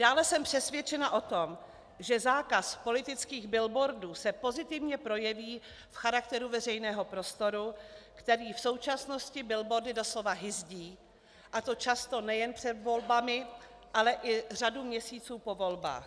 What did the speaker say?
Dále jsem přesvědčena o tom, že zákaz politických billboardů se pozitivně projeví v charakteru veřejného prostoru, který v současnosti billboardy doslova hyzdí, a to často nejen před volbami, ale i řadu měsíců po volbách.